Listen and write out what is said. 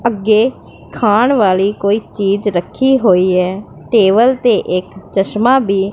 ਅੱਗੇ ਖਾਣ ਵਾਲੀ ਕੋਈ ਚੀਜ ਰੱਖੀ ਹੋਈ ਐ ਟੇਬਲ ਤੇ ਇੱਕ ਚਸ਼ਮਾਂ ਭੀ--